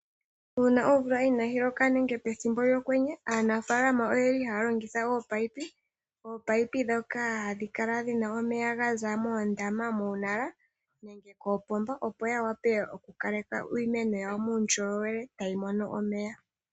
Uuna omvula inaayi loka nenge pethimbo lyokwenye aanafaalama ohaya longitha ominino dhomeya, ndhoka hadhi Kala dhina omeya gaza moondama nenge koopomba opo yawape okukaleka iimeno yawo muundjolowele tayi mono omeya.